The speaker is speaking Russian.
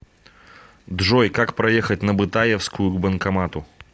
джой как проехать на бытаевскую к банкомату